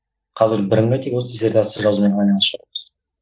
қазір бірыңғай тек осы дессертация жазумен айналысып жатырмыз